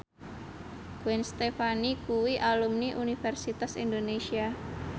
Gwen Stefani kuwi alumni Universitas Indonesia